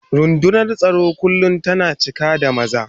Rundunar tsaro kullum tana cika da maza.